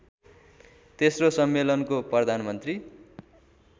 तेस्रो सम्मेलनको प्रधानमन्त्री